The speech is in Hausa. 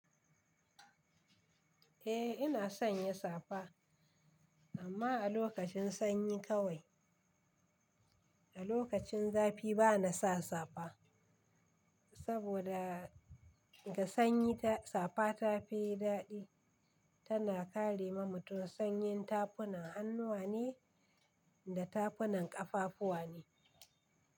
Eh ina sanya safa amma a lokacin sanyi kawai. A lokacin zafi bana sa safa. Saboda ga sanyi safa ta fi daɗi. Tana kare ma mutum sanyin tafunan hannuwa ne da tafunan ƙafafuwa ne.